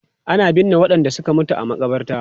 Ana binne wadanda suka mutu a makabarta.